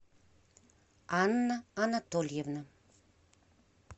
анна анатольевна